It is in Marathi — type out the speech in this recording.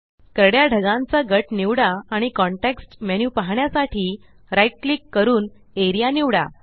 करड्या ढगांचा गट निवडा आणि कॉन्टेक्स्ट मेन्यु पाहण्यासाठी right क्लिक करून एआरईए निवडा